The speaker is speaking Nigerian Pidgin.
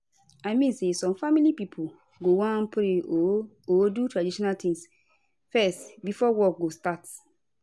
i mean say some family pipo go wan pray or or do tradition tings fezz before work go start